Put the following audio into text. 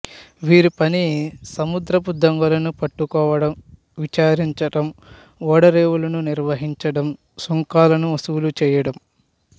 వీరి పని సముద్రపు దొంగలను పట్టుకోవడం విచారించడం ఓడరేవులను నిర్వహించడం సుంకాలను వసూలు చేయడం